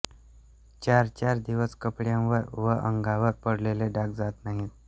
चारचार दिवस कपड्यांवर व अंगावर पडलेले डाग जात नाहीत